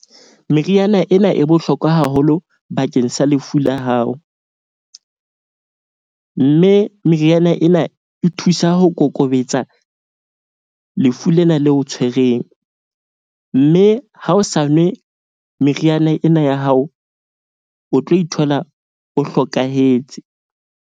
Meriana ena e bohlokwa haholo bakeng sa lefu la hao, mme meriana ena e thusa ho kokobetsa lefu lena leo o tshwereng. Mme ha o sa nwe meriana ena ya hao, o tlo ithola o hlokahetse.